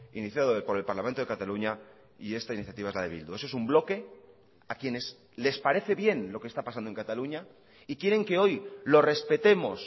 iniciado por el parlamento de cataluña y esta iniciativa es la de bildu eso es un bloque a quienes les parece bien lo que está pasando en cataluña y quieren que hoy lo respetemos